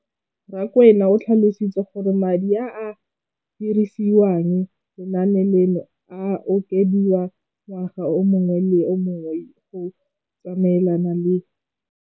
Rakwena o tlhalositse gore madi a a dirisediwang lenaane leno a okediwa ngwaga yo mongwe le yo mongwe go tsamaelana le